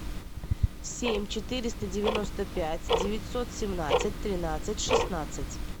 семь четыреста девяносто пять девятьсот семнадцать тринадцать шестнадцать